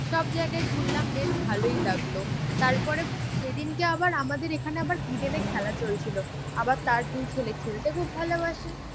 সবজায়গায় ঘুরলাম বেশ ভালোই লাগলো। তারপরে সেদিনকে আবার আমাদের এখানে আবার ইডেনে খেলা চলছিল। আবার তার দুই ছেলে খেলতে খুব ভালোবাসে।